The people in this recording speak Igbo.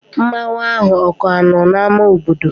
Mmanwu ahụ o ka no n'ámá obodo?